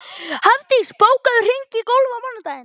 Hafdís, bókaðu hring í golf á mánudaginn.